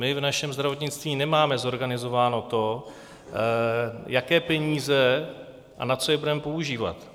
My v našem zdravotnictví nemáme zorganizováno to, jaké peníze a na co je budeme používat.